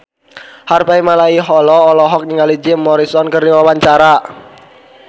Harvey Malaiholo olohok ningali Jim Morrison keur diwawancara